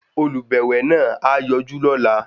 Olùbẹ̀wẹ̀ náà á yọjú lọ́la.